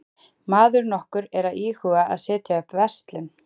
Maður nokkur er að íhuga að setja upp verslun.